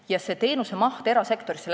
Ja see teenusemaht läks erasektorisse.